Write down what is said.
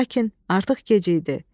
Lakin artıq gec idi.